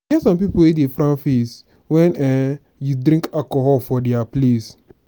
e get some people wey dey frown face wen um you drink alcohol for their place.